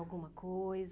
Alguma coisa?